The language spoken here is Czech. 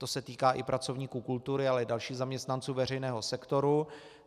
To se týká i pracovníků kultury, ale i dalších zaměstnanců veřejného sektoru.